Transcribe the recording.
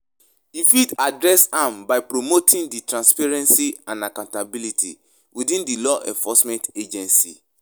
I fit adress am by promoting di transparency and accountability within di law enforcement agencies.